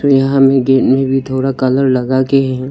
यहां में गेट में भी थोड़ा कलर लगा के है।